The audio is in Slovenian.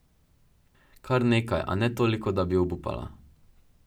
Kar nekaj, a ne toliko, da bi obupala.